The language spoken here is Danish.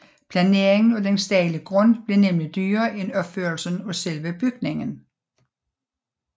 Planeringen af den stejle grund blev nemlig dyrere end opførelsen af selve bygningen